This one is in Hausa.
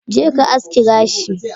Jeka aski gashi